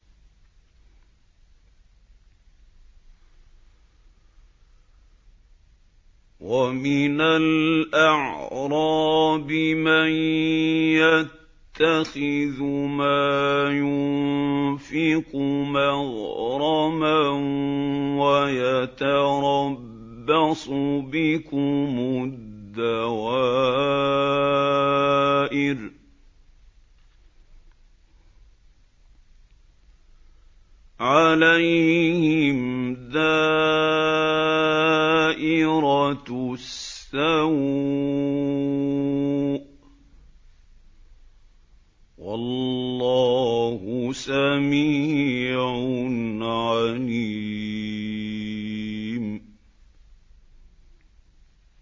وَمِنَ الْأَعْرَابِ مَن يَتَّخِذُ مَا يُنفِقُ مَغْرَمًا وَيَتَرَبَّصُ بِكُمُ الدَّوَائِرَ ۚ عَلَيْهِمْ دَائِرَةُ السَّوْءِ ۗ وَاللَّهُ سَمِيعٌ عَلِيمٌ